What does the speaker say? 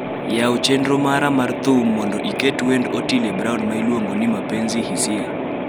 yaw chenro mara mar thum mondo iket wend Otile Brown ma iluongoni mapenzi hisia